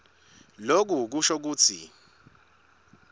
loku kusho kutsi